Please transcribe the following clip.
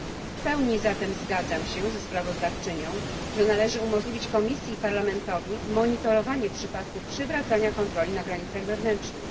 W pełni zatem zgadzam się ze sprawozdawczynią, że należy umożliwić Komisji i Parlamentowi monitorowanie przypadków przywracania kontroli na granicach wewnętrznych.